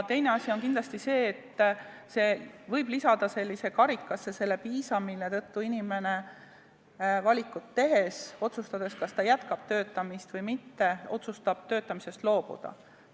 Teine asi on kindlasti see, et see võib lisada sellesse karikasse viimase piisa, mille tõttu inimene valikut tehes, kas ta jätkab töötamist või mitte, otsustab töötamisest loobuda.